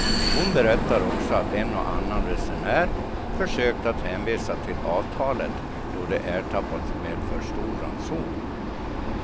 Hon berättar också att en och annan resenär, försökt att hänvisa till avtalet då de ertappats med för stor ranson.